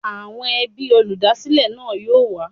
Àwọn ẹbí olúdásílè náà yóò wá.